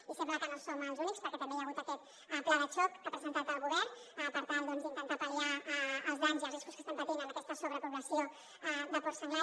i sembla que no som els únics perquè també hi ha hagut aquest pla de xoc que ha presentat el govern per tal d’intentar pal·liar els danys i els riscos que estem patint amb aquesta sobrepobla·ció de porc senglar